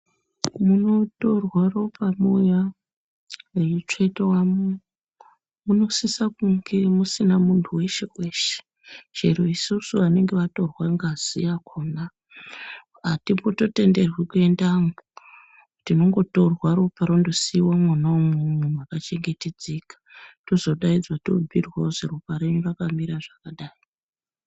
Munotorwa ropa muya reitsvetwemwo munosisa kunge musina muntu weshe weshe chero isusu vanenge vatorwa ngazi yakhona atimbototenderwi kuendemwo tinongotorwa ropa rondosiiwa mwona umwomwo mwakachengetedzeka tozodaidzwa tobhuyirwa kuti ropa renyu rakamira zvakadayi.